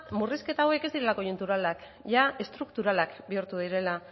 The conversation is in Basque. murrizketa hauek ez direla koiunturalak jada estrukturalak bihurtu direla